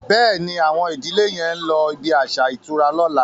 Béèni Awon ìdílè yén ló ibí aṣa ìtura lọ̀la.